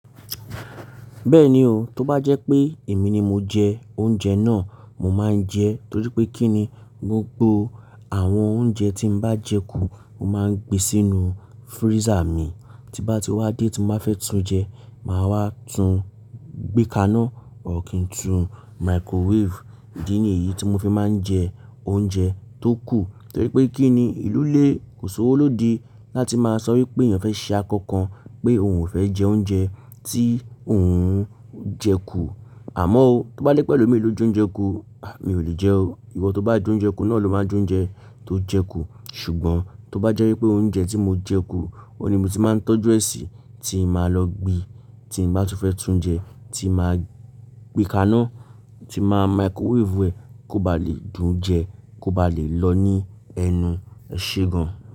Bẹ́ẹ̀ni o, tó bá jẹ́ pé èmi ni mo jẹ oúnjẹ náà, mo máa ń jẹ ẹ́ torí pé kí ni? Gbogbo àwọn oúnjẹ tí n bá jẹ kú, mo máa ń gbé sínú freezer mi, tí bá ti wá dé tí mo bá fẹ́ tún jẹ, màá wá tún gbékáá náà, or kín tún microwave. Idi nìyí tí mo fi máa ń jẹ oúnjẹ tó kù torí pé kí ni? Ìlú léè kó ṣowó lóde láti máa sọ wípé èèyàn fẹ́ ṣe àkọ́ kan pé òun ò fẹ́ jẹ oúnjẹ tí òun jẹ kú. Àmọ́ o, tó bá jẹ́pe elọ́ mìí ló jóúnjẹ kú, à mi ò lè jẹ o. Ìwọ tó bá jóúnjẹ kú náà ló máa ń jóúnjẹ tó jẹ kú. Ṣùgbọ́n tó bá jẹ́ wípé oúnjẹ tí mo jẹ kú, òun ni mo ti máa ń tọ́jú ẹ́ sí tí màá lọ gbin, tí mo bá tú fẹ́ tún jẹ, tí màá gbékáá náà, tí màá microwave rẹ̀ kó ba lè dùn jẹ, kó ba lè lọ ní ẹnu ẹ ṣe gan.